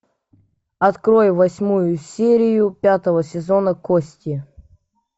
открой восьмую серию пятого сезона кости